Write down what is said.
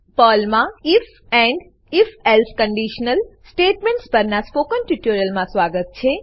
પર્લમા if and if else conditional statements પરનાં spoken ટ્યુટોરીયલમાં સ્વાગત છે